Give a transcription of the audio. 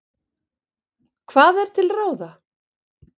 Hvað er til ráða?